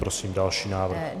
Prosím další návrh.